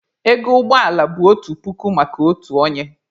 Ego ụgbọ ala bụ otu puku maka otu onye.